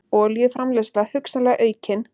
Olíuframleiðsla hugsanlega aukin